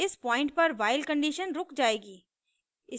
इस पॉइंट पर while condition रुक जाएगी